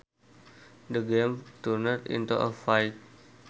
The game turned into a fight